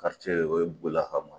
o ye bola hama